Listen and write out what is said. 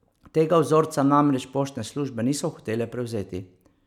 Tega vzorca namreč poštne službe niso hotele prevzeti.